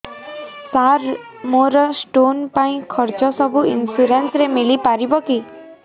ସାର ମୋର ସ୍ଟୋନ ପାଇଁ ଖର୍ଚ୍ଚ ସବୁ ଇନ୍ସୁରେନ୍ସ ରେ ମିଳି ପାରିବ କି